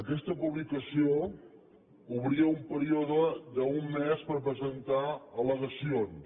aquesta publicació obria un període d’un mes per presentar hi al·legacions